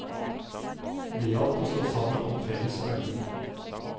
Det gjaldt å stå sammen om felles verdier.